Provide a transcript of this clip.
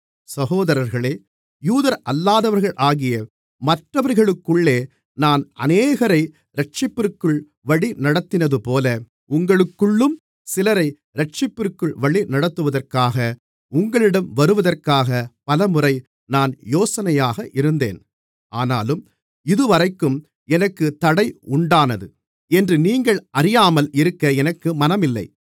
சகோதரர்களே யூதரல்லாதவர்களாகிய மற்றவர்களுக்குள்ளே நான் அநேகரை இரட்சிப்பிற்குள் வழிநடத்தினதுபோல உங்களுக்குள்ளும் சிலரை இரட்சிப்பிற்குள் வழிநடத்துவதற்காக உங்களிடம் வருவதற்காக பலமுறை நான் யோசனையாக இருந்தேன் ஆனாலும் இதுவரைக்கும் எனக்குத் தடை உண்டானது என்று நீங்கள் அறியாமல் இருக்க எனக்கு மனமில்லை